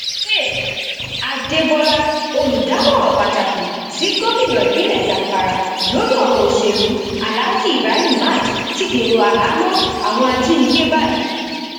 faith adébọlá olùdámọràn pàtàkì sí gomina ìpínlẹ zamfara lórí ọrọ òsèlú aláàjì ibrahim maaj ti dèrò àhámọ àwọn ajinígbé báyìí